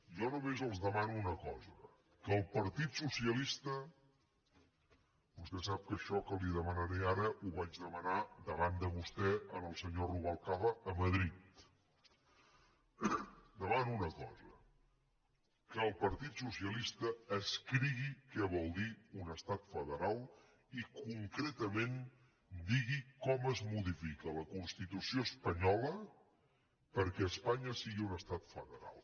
jo només els demano una cosa que el partit socialista vostè sap que això que li demanaré ara ho vaig demanar davant de vostè al senyor rubalcaba a madrid escrigui què vol dir un estat federal i concretament digui com es modifica la constitució espanyola perquè espanya sigui un estat federal